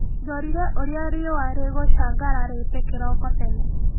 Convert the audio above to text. Ndorire ũrĩa riũa rĩgũcangararĩte kĩroko tene.